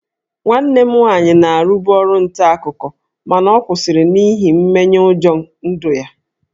Nwanne m nwaanyị na-arụbu ọrụ nta akụkọ mana ọ kwụsịrị n'ihi mmenyeụjọ ndụ ya